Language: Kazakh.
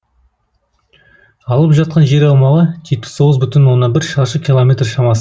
алып жатқан жер аумағы жетпіс тоғыз бүтін оннан бір шаршы километр шамасында